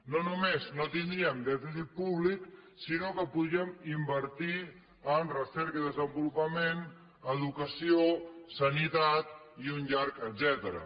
no només no tindríem dèficit públic sinó que podríem invertir en recerca i desenvolupament educació sanitat i un llarg etcètera